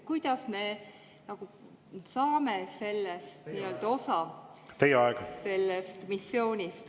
Kuidas me sellest missioonist osa saame?